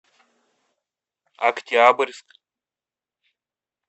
октябрьск